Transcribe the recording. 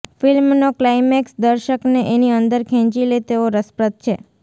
ફ્લ્મિનો climax દર્શકને એની અંદર ખેંચી લે તેવો રસપ્રદ છે